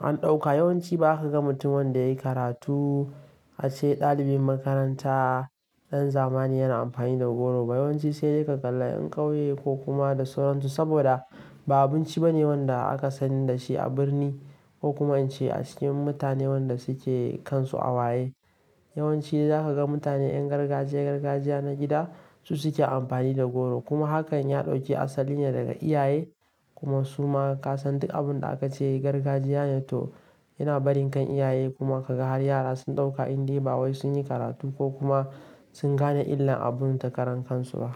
an ɗauka yawanci ba ka ga mutum wanda yayi karatu a ce ɗalibin makaranta ɗan zamani yana amfani da goro ba. Yawanci sai dai ka kalla 'yan ƙauye ko kuma da sauran su saboda ba abinci bane wanda aka sani da shi a birni ko kuma in ce a cikin mutane waɗanda suke kansu a waye. Yawanci zaka ga mutane 'yan gargajiya, gargajiya na gida su suke amfani da goro. Kuma hakan ya ɗauki asalin ne daga iyaye kuma suma ka san duk abun da aka ce gargajiya ne to yana barin kan iyaye kuma ka ga har yara sun ɗauka indai ba wai sun yi karatu ko kuma sun gane illar abun takaran kansu ba.